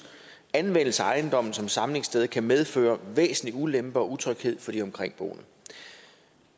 anvendelse af ejendommen som samlingssted kan medføre væsentlig ulempe og utryghed for de omkringboende